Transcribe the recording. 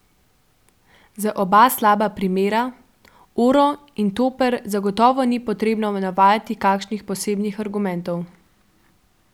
Za oba slaba primera, Oro in Toper zagotovo ni potrebno navajati kakšnih posebnih argumentov.